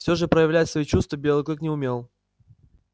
всё же проявлять свои чувства белый клык не умел